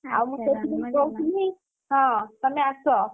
ଆଉ ମୁଁ ସେଥିପାଇଁ କହୁଥିଲି ଆଉ, ହଁ ତମେ ଆସ।